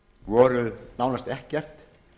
voru nánast ekkert